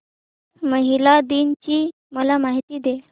महिला दिन ची मला माहिती दे